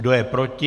Kdo je proti?